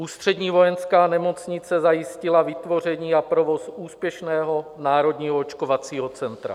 Ústřední vojenská nemocnice zajistila vytvoření a provoz úspěšného Národního očkovacího centra.